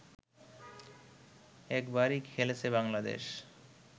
একবারই খেলেছে বাংলাদেশ